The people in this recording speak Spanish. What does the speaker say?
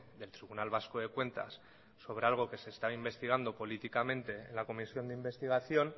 del tribunal vasco de cuentas sobre algo que se está investigando políticamente en la comisión de investigación